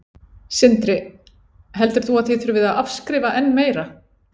Sindri: Heldur þú að þið þurfið að afskrifa enn meira?